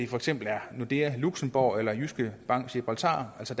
for eksempel er nordea luxembourg eller jyske bank gibraltar altså